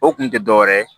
O kun tɛ dɔ wɛrɛ ye